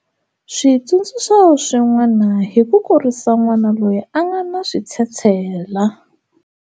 Switsundzuxo swin'wana hi ku kurisa n'wana loyi a nga na switshetshela.